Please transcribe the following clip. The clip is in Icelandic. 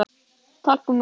Talkúm og talk